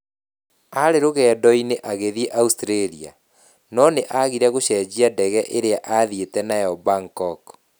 Aarĩ rũgendo-inĩ agathiĩ Australia, no nĩ aagire gũcenjia ndege ĩrĩa aathiĩte nayo Bangkok.